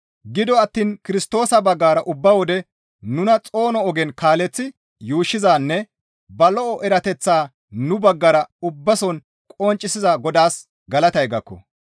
Gido attiin Kirstoosa baggara ubba wode nuna xoono ogen kaaleththi yuushshizanne ba lo7o erateththaa nu baggara ubbason qonccisiza Godaas galatay gakko.